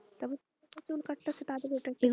তবে যারা চুল কাটতেছে তাদের ওটা একটা চাকরি,